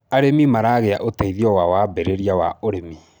arĩmi maragia uteithio wa wambiriria wa ũrĩmi